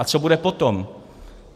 A co bude potom?